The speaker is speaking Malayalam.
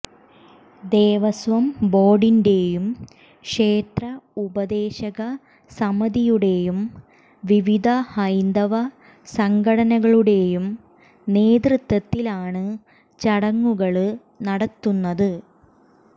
ദേവസ്വം ബോര്ഡിന്റെയും ക്ഷേത്ര ഉപദേശക സമിതിയുടെയും വിവിധ ഹൈന്ദവ സംഘടനകളുടെയും നേതൃത്വത്തിലാണ് ചടങ്ങുകള് നടത്തുന്നത്